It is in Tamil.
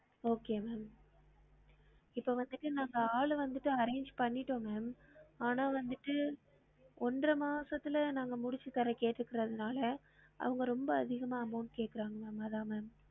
Okay ma'am இப்ப வந்துட்டு நாங்க ஆளு வந்துட்டு arrange பண்ணிட்டோம் ma'am ஆனா வந்துட்டு ஒன்ற மாசத்துல நாங்க முடிச்சு தர கேட்டுருக்குரதுனால அவங்க ரொம்ப அதிகமா amount கேக்குறாங்கலாமா அதான் ma'am